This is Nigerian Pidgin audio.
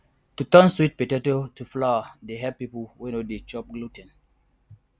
to turn sweet potato to flour dey help people wey no dey chop glu ten